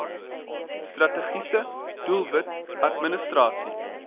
strategiese doelwit administrasie